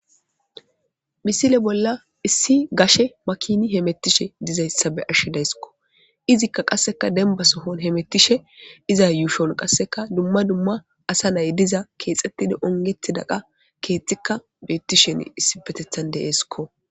Misile bolla issi gashe makini hemettishe dizayssa be ashshidayssikko izikka qasseka demba sohon hemettishe iza yuushon qasseka dumma dumma asa nay diza keexxettida ongethi daqa keexxikka beetti shen issi petethan deeesikko.